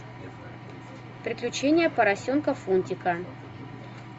приключения поросенка фунтика